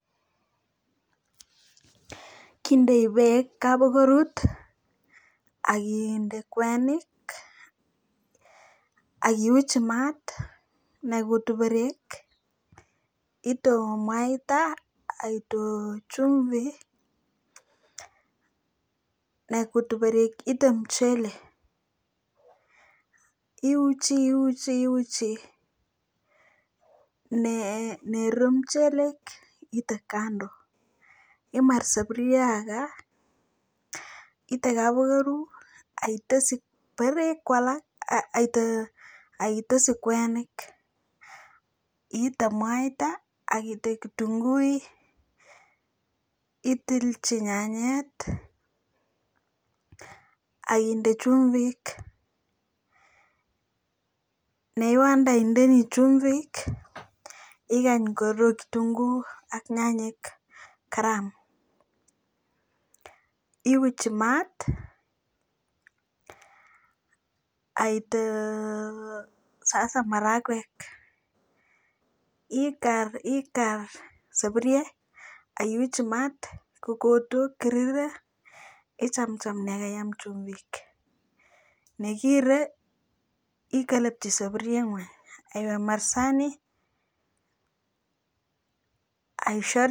Kendae bek kaborut akinde kwenik akiwirchi mat naikutu berek itou mwaita itou chumbik ak mchelek iuchi iuchi iuchi Nero mchelek it's kando imar saburio ga ITER kabaru